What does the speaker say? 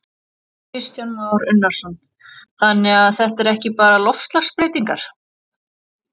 Kristján Már Unnarsson: Þannig að þetta er ekki bara loftslagsbreytingar?